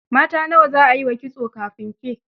Mata nawa za a yi wa kitso kafin ke?